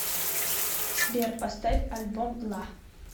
сбер поставь альбом ла